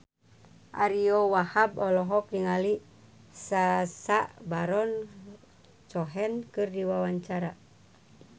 Ariyo Wahab olohok ningali Sacha Baron Cohen keur diwawancara